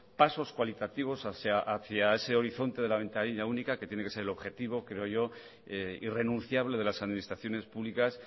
pasos cualitativos hacia ese horizonte de la ventanilla única que tiene que ser el objetivo creo yo irrenunciable de las administraciones públicas